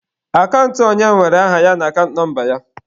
Akant onye nwere aha ya na akant nọmba ya.